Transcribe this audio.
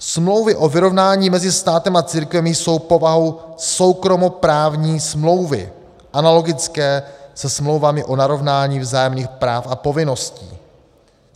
Smlouvy o vyrovnání mezi státem a církvemi jsou povahou soukromoprávní smlouvy analogické se smlouvami o narovnání vzájemných práv a povinností.